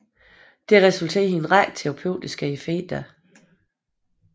Dette resulterer i en række terapeutiske effekter